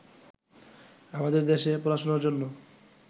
আমাদের দেশে পড়াশোনার জন্য